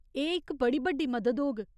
एह् इक बड़ी बड्डी मदद होग।